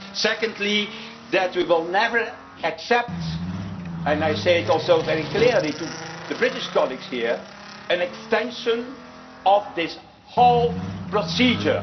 Secondly, that we will never accept and I say it also very clearly to the British colleagues here an extension of this whole procedure.